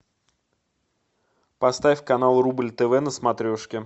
поставь канал рубль тв на смотрешке